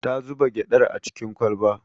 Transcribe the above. Ta zuba gyaɗar a cikin kwalba